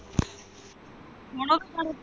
ਹੁਣ ਉਹ।